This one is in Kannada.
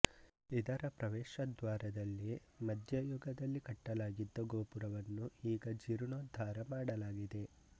ಇದರ ಪ್ರವೇಶದ್ವಾರದಲ್ಲಿ ಮಧ್ಯಯುಗದಲ್ಲಿ ಕಟ್ಟಲಾಗಿದ್ದ ಗೋಪುರವನ್ನು ಈಗ ಜೀರ್ಣೋದ್ಧಾರ ಮಾಡಲಾಗಿದೆ